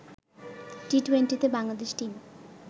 টি-টোয়েন্টিতে Bangladesh team